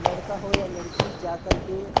लड़का हो या लड़की जा कर के--